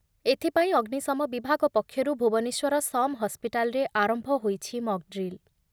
ଏଥିପାଇଁ ଅଗ୍ନିଶମ ବିଭାଗ ପକ୍ଷରୁ ଭୁବନେଶ୍ଵର ସମ ହସ୍ପିଟାଲରେ ଆରମ୍ଭ ହୋଇଛି ମକ୍‌ଡ୍ରିଲ ।